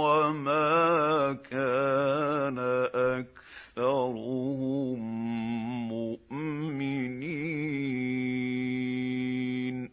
وَمَا كَانَ أَكْثَرُهُم مُّؤْمِنِينَ